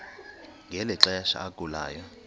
ngeli xesha agulayo